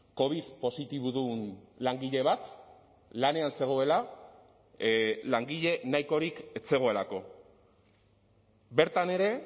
covid positibodun langile bat lanean zegoela langile nahikorik ez zegoelako bertan ere